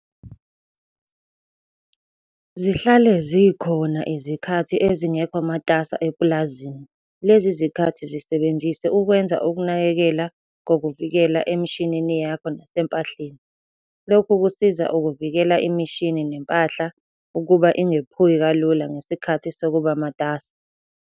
Zihlale zikhona izikhathi ezingekho matasa epulazini. Lezi zikhathi zisebenzise ukwenza ukunakekela kokuvikela emishinini yakho nasempahleni. Lokhu kusiza ukuvikela imishini nempahla ukuba ingephuki kalula ngesikhathi sokuba matasa.